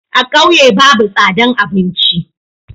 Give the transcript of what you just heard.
A ƙauye babu tsadan abinci.